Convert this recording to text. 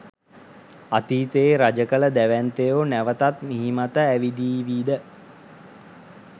අතීතයේ රජකළ දැවැන්තයෝ නැවතත් මිහිමත ඇවිදීවිද?